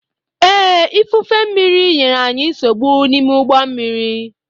Ee, ifufe mmírí nyere anyị nsogbu n'ime ụgbọ mmiri.